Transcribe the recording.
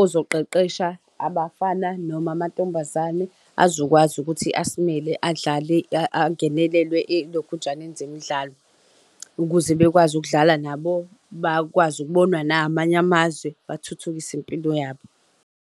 ozoqeqesha abafana noma amantombazane azokwazi ukuthi asimele adlale angenelelwe elokhunjaneni zemidlalo, ukuze bekwazi ukudlala nabo bakwazi ukubonwa namanye amazwe bathuthukise impilo yabo.